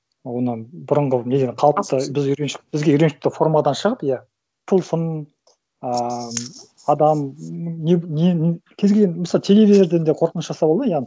оны бұрынғы неден қалыпты біз үйреншік бізге үйреншікті формадан шығып иә тылсым ааа адам не кез келген мысалы телевизорден де қорқыныш жасауға болады ғой иә